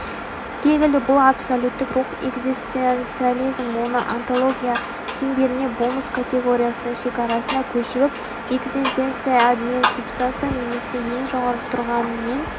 гегельде бұл абсолюттік рух экзистенциализм оны онтология шеңберіне болмыс категориясының шекарасына көшіріп экзистенция меннің субстанциясы немесе ең жоғары тұрған мен